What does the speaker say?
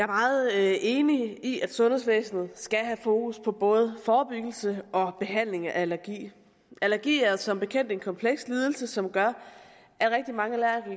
meget enig i at sundhedsvæsenet skal have fokus på både forebyggelse og behandling af allergi allergi er som bekendt en kompleks lidelse som gør